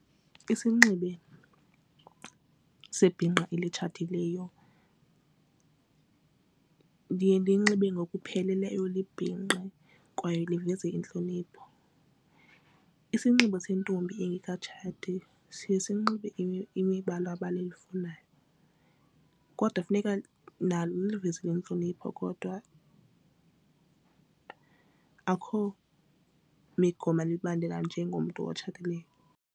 Isinxibo sebhinqa elitshatileyo liye linxibe ngokupheleleyo libhinqe kwaye luveze intlonipho. Isinxibo sentombi engekatshati siye sinxibe imibala abalifunayo kodwa funeka nalo luyivezile yintlonipho kodwa akho migomo ebaleka njengomntu otshatileyo.